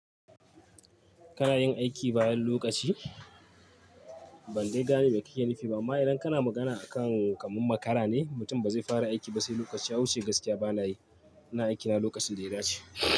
Kana yin aiki bayan lokaci? Ban dai gane ba kike nufi ba. Amma idan kana magana akan kamar makara ne, mutum ba zai fara aiki ba sai lokaci ya wuce gaskiya bana yi. Ina aikina lokacin da ya dace.